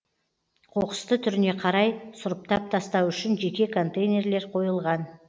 қоқысты түріне қарай сұрыптап тастау үшін жеке контейнерлер қойылған